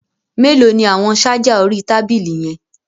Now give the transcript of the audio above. Mélòó ni àwọn ṣájà orí tábìlì yẹn.